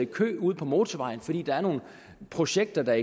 kø ude på motorvejen fordi der er nogle projekter der